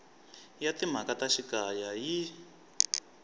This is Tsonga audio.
ya timhaka ta xikaya yi